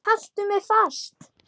Haltu mér fast!